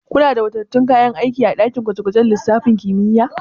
Kuna da wadatattun kayan aiki a daki gwaje gwajen lissafin kimiyya?